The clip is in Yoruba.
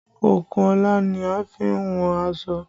Okùnọlà ni a fi n wọn aṣọ